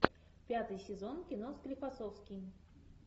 пятый сезон кино склифосовский